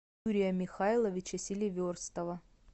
юрия михайловича селиверстова